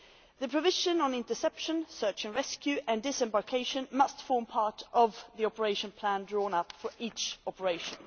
The provisions on interception, search and rescue, and disembarkation must form part of the operation plan drawn up for each operation.